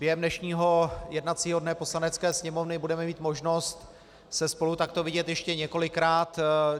Během dnešního jednacího dne Poslanecké sněmovny budeme mít možnost se spolu takto vidět ještě několikrát.